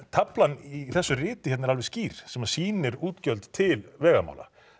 taflan í þessu riti er skýr sem sýnir útgjöld til vegamála